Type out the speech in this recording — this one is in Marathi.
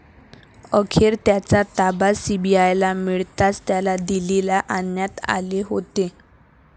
अखेर त्याचा ताबा सीबीआयला मिळताच त्याला दिल्लीला आणण्यात आले होते.